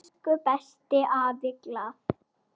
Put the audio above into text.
Elsku besti afi Glað.